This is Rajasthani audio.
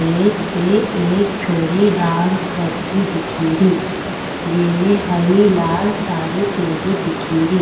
स्टेज में एक छोरी डांस करती दिखेरी जेमे हरी लाल साड़ी पहेरी दिखेरी।